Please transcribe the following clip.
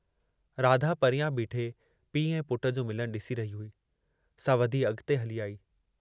राधा परियां बीठे पीउ ऐं पुट जो मिलनु ॾिसी रही हुई, सा वधी अॻिते हली आई।